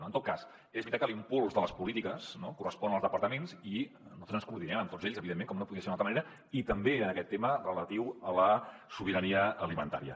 en tot cas és veritat que l’impuls de les polítiques correspon als departaments i nosaltres ens coordinem amb tots ells evidentment com no podia ser d’una altra manera i també en aquest tema relatiu a la sobirania alimentària